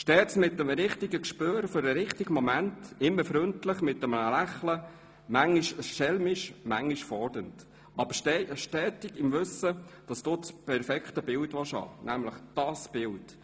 Stets mit dem richtigen Gespür für den richtigen Moment, immer freundlich, mit einem Lächeln, manchmal schelmisch, manchmal fordernd, aber stets im Wissen, dass du das perfekte Bild haben willst; nämlich Bild.